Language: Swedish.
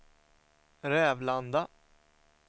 Rävlanda